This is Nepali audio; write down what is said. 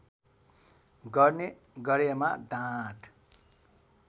गर्ने गरेमा दाँत